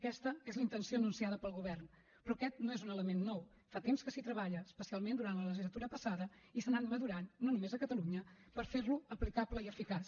aquesta és la intenció anunciada pel govern però aquest no és un element nou fa temps que s’hi treballa especialment durant la legislatura passada i s’ha anat madurant no només a catalunya per fer lo aplicable i eficaç